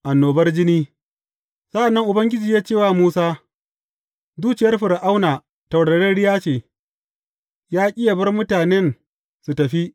Annobar jini Sa’an nan Ubangiji ya ce wa Musa, Zuciyar Fir’auna taurariya ce, ya ƙi yă bar mutanen su tafi.